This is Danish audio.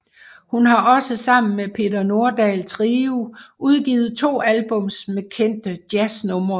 Hun har også sammen med Peter Nordahl Trio udgivet to albums med kendte jazznumre